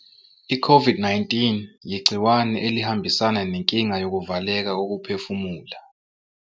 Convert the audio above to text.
I-COVID-19 iyigciwane elihambisana nenkinga yokuvaleka kokuphefumula.